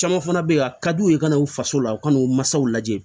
Caman fana bɛ yen a ka d'u ye u kana u faso la u ka n'u masaw lajɛ